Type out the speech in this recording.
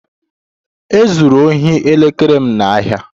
E zuru ohi elekere m n'ahịa